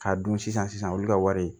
K'a dun sisan olu ka wari